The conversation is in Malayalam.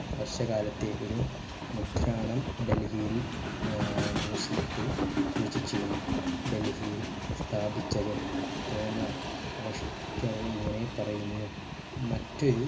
വർഷകാലത്തേക് ഒരു മുദ്രാണം ഡൽഹിയിൽ ഏർ മ്യൂസിയത്തിൽ സൂക്ഷിച്ചിരുന്നു ഡൽഹിയിൽ സ്ഥാപിച്ചത് തോമർ വാഷ് ചർ ഇങ്ങനെ പറയുന്നു മറ്റൊരു